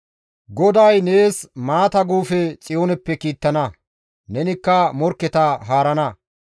GODAY nees maata guufe Xiyooneppe kiittana; nenikka morkketa haarana.